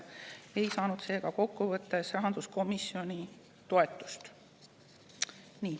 Seega teised muudatusettepanekud komisjoni toetust ei saanud.